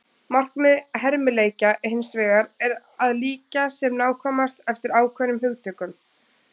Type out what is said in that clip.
Markmið hermileikja hins vegar er að líkja sem nákvæmast eftir ákveðnum hugtökum.